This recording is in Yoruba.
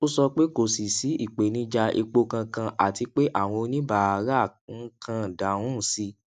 ó sọ pé kò sí sí ìpèníjà epo kankan àti pé àwọn oníbàárà ń kàn dáhùn sí